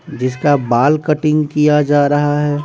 जिसका बाल कटिंग किया जा रहा है।